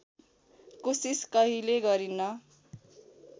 कोसिस कहिल्यै गरिन